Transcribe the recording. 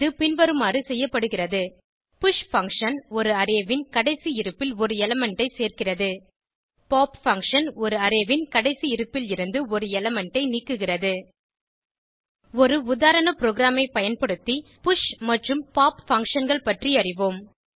இது பின்வருமாறு செய்யப்படுகிறது புஷ் பங்ஷன் ஒரு அரே ன் கடைசி இருப்பில் ஒரு எலிமெண்ட் ஐ சேர்கிறது பாப் பங்ஷன் ஒரு அரே ன் கடைசி இருப்பிலிருந்து ஒரு எலிமெண்ட் ஐ நீக்குகிறது ஒரு உதாரண ப்ரோகிராமை பயன்படுத்தி புஷ் மற்றும் பாப் functionகள்பற்றி அறிவோம்